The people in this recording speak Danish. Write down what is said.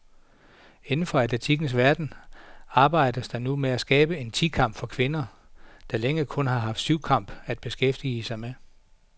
Inden for atletikkens verden arbejdes der nu med at skabe en ti kamp for kvinder, der længe kun har haft syvkamp at beskæftige med.